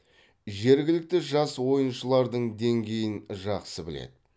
жергілікті жас ойыншылардың деңгейін жақсы біледі